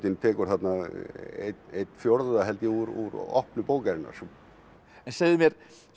tekur þarna einn fjórða úr opnu bókarinnar segðu mér